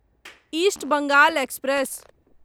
east Bengal express